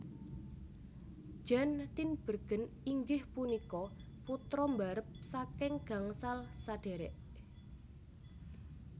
Jan Tinbergen inggih punika putra mbarep saking gangsal sadhérék